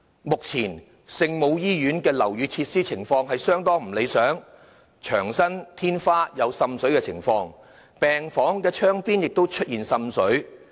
目前，聖母醫院的樓宇設施情況相當不理想，牆身、天花有滲水的情況，病房窗邊亦出現滲水。